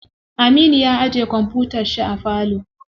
Aminu ya ajiye kwamfutar shi a falo.